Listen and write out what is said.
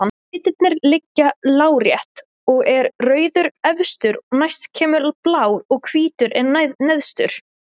Litirnir liggja lárétt og er rauður efstur, næst kemur blár og hvítur er neðstur.